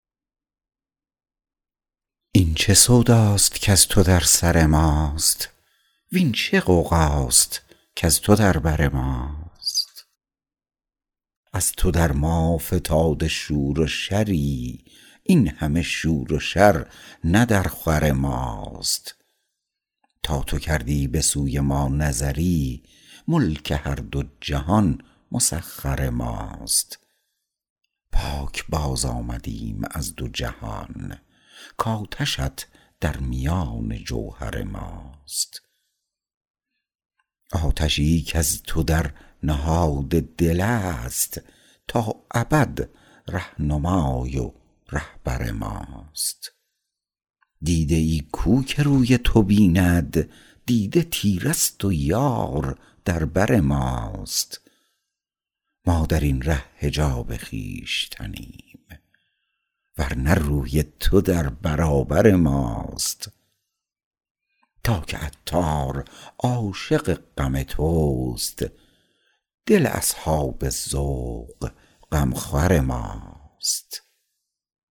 این چه سوداست کز تو در سر ماست وین چه غوغاست کز تو در بر ماست از تو در ما فتاده شور و شری این همه شور و شر نه در خور ماست تا تو کردی به سوی ما نظری ملک هر دو جهان مسخر ماست پاکباز آمده ایم از دو جهان کاتش ات در میان جوهر ماست آتشی کز تو در نهاد دل است تا ابد رهنمای و رهبر ماست دیده ای کو که روی تو بیند دیده تیره است و یار در بر ماست ما درین ره حجاب خویشتنیم ورنه روی تو در برابر ماست تا که عطار عاشق غم توست دل اصحاب ذوق غمخور ماست